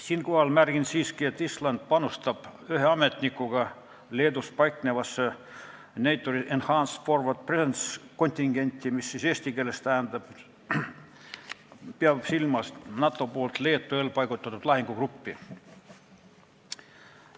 Siinkohal märgin siiski, et Island panustab ühe ametnikuga Leedus paiknevasse NATO's Enhanced Forward Presence kontingenti, mis eesti keeles tähendab NATO poolt Leetu eelpaigutatud lahingugruppi.